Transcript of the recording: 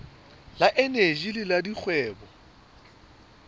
le eneji le la dikgwebo